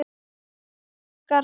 Elsku systir okkar.